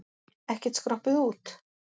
Ekkert skroppið út?